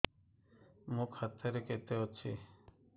ମୋ ଖାତା ରେ କେତେ ଅଛି